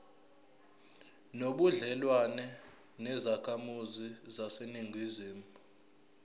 nobudlelwane nezakhamizi zaseningizimu